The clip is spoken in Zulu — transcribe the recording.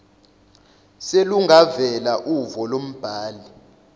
selungavela uvo lombhali